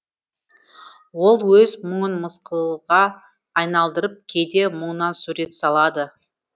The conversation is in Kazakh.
ол өз мұңын мысқылға айналдырып кейде мұңнан сурет салады